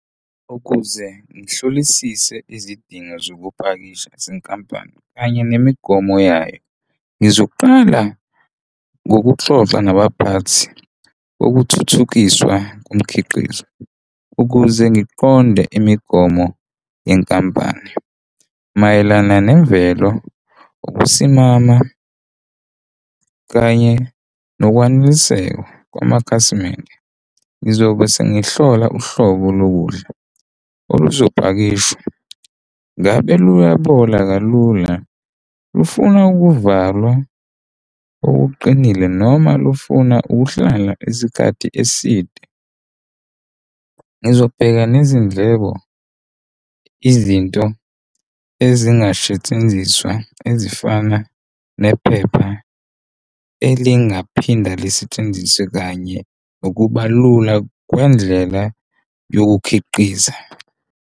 Ukuze ngihlolisise izidingo zokupakisha, zenkampani kanye nemigomo yayo, ngizoqala ngokuxoxa nabaphathi okuthuthukiswa komkhiqizo ukuze ngiqonde imigomo yenkampani mayelana nemvelo, ukusimama kanye nokwaneliseka kwamakhasimende. Ngizobe sengihlola uhlobo lokudla oluzopakishwa, ngabe luyabola kalula? Lufuna ukuvalwa okuqinile noma lufuna ukuhlala isikhathi eside? Ngizobheka nezindleko izinto ezingasetshenziswa ezifana nephepha elingaphinda lisetshenziswe kanye nokuba lula kwendlela yokukhiqiza.